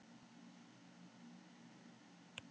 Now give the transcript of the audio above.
Enginn þekkir hana, síst af öllum hún sem er ekki lengur til.